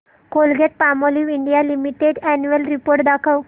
Colgate Palmolive India Limited annual report दाखव